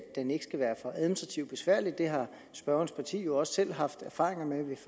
den ikke skal være for administrativt besværlig det har spørgerens parti jo også selv haft erfaringer med ved